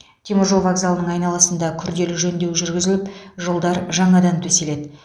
теміржол вокзалының айналасында күрделі жөндеу жүрігізіліп жолдар жаңадан төселеді